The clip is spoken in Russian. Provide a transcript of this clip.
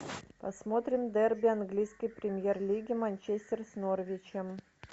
посмотрим дерби английской премьер лиги манчестер с норвичем